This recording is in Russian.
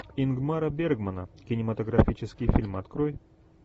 ингмара бергмана кинематографический фильм открой